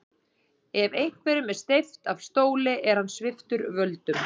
Ef einhverjum er steypt af stóli er hann sviptur völdum.